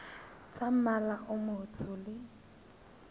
tsa mmala o motsho le